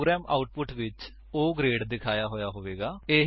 programme output ਵਿੱਚ O grade ਦਿਖਾਇਆ ਹੋਇਆ ਹੋਵੇਗਾ